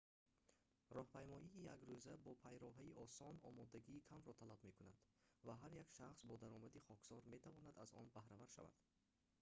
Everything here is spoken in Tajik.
роҳпаймоии якрӯза бо пайроҳаи осон омодагии камро талаб мекунад ва ҳар як шахс бо даромади хоксор метавонад аз он баҳравар шавад